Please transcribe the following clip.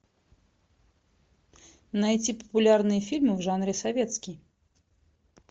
найти популярные фильмы в жанре советский